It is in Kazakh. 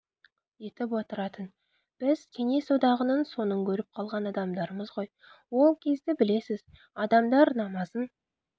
етіп отыратын біз кеңес одағының соңын көріп қалған адамдармыз ғой ол кезді білесіз адамдар намазын